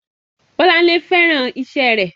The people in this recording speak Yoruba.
Bọ́lárìnwá féràn iṣẹ́ rẹ̀.